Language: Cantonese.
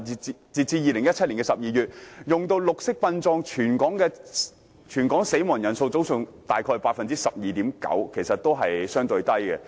截至2017年12月，全港使用綠色殯葬的先人比例約佔 12.9%， 數字相對較低。